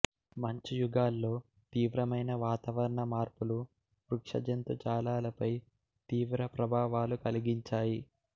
మంచు యుగాల్లో తీవ్రమైన వాతావరణ మార్పులు వృక్ష జంతుజాలాలపై తీవ్ర ప్రభావాలు కలిగించాయి